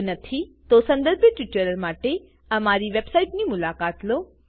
જો નથી સંદર્ભિત ટ્યુટોરીયલો માટે અમારી વેબસાઈટની મુલાકાત લો